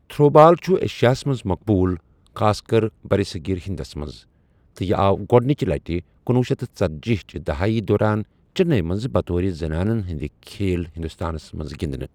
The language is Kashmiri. تھرو بال چھُ ایشیاہس منٛز مقبوُل ، خاص کر برصغیر ہندس منٛز ، تہٕ یہ آو گۄڑنِچہِ لٹہِ کنۄہ شیتھ ژتٔجی چہِ دہایی دوران چِننی منٛز بطور زنانن ہٕنٛدِ کھیل ہندوستانس منٛز گِنٛدنہٕ۔